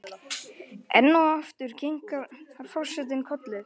Enn og aftur kinkar forsetinn kolli.